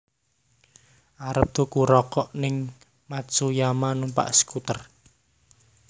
Arep tuku rokok ning Matsuyama numpak skuter